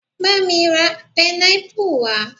Bá mi ra pineapple wá